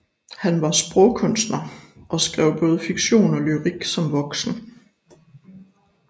Han var sprogkunstner og skrev både fiktion og lyrik som voksen